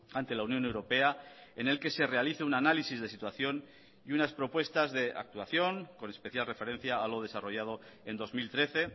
ante la unión europea en el que se realice un análisis de situación y unas propuestas de actuación con especial referencia a lo desarrollado en dos mil trece